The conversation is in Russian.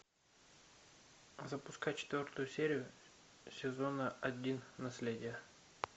запускай четвертую серию сезона один наследие